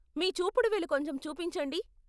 మీ చూపుడు వేలు కొంచెం చూపించండి.